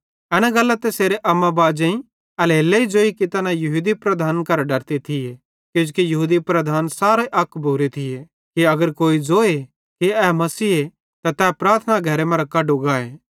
एना गल्लां तैसेरे अम्मा बाजे एल्हेरेलेइ ज़ोई तैना यहूदी लीडरन करां डरते थिये किजोकि यहूदी लीडर सारे अक भोरे थी कि अगर कोई जोए कि ए मसीहे त तै प्रार्थना घरे मरां कड्डो गाए